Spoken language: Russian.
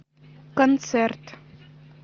концерт